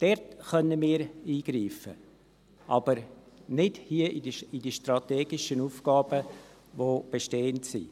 Dort können wir eingreifen, aber nicht hier in die strategischen Aufgaben, die bestehend sind.